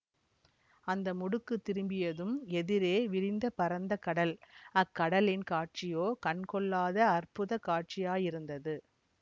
அந்த முடுக்கு திரும்பியதும் எதிரே விரிந்து பரந்தகடல் அக்கடலின் காட்சியோ கண்கொள்ளாத அற்புத காட்சியாயிருந்தது